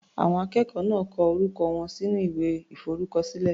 Àwọn akẹ́kọ̀ọ́ náà kọ orúkọ wọn sínú ìwé ìforúkọ sí.